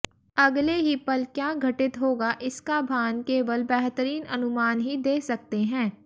अगले ही पल क्या घटित होगा इसका भान केवल बेहतरीन अनुमान ही दे सकते हैं